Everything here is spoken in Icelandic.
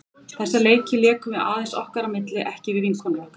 Þessa leiki lékum við aðeins okkar á milli, ekki við vinkonur okkar.